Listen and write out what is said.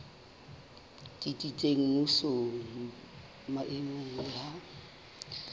tsitsitseng mmusong maemong le ha